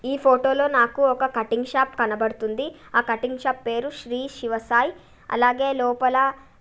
ఈ ఫొటో లో నాకు ఒక కటింగ్ షాప్ కనబడుతుంది ఆ కటింగ్ షాప్ పేరు శ్రీ శివ సాయి అలాగే లోపల --